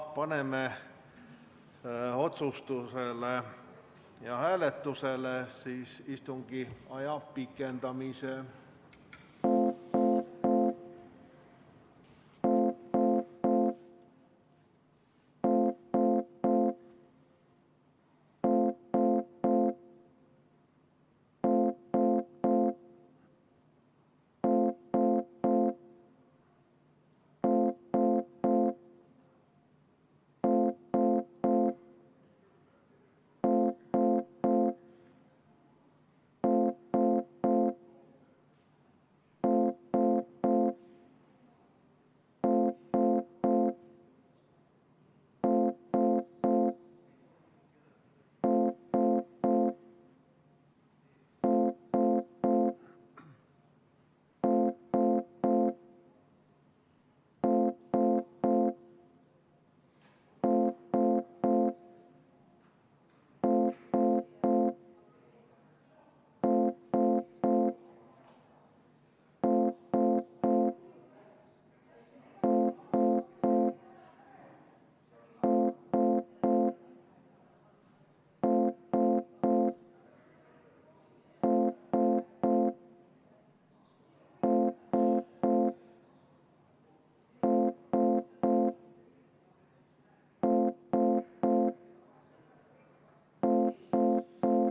Paneme otsustusele ja hääletusele istungi aja pikendamise.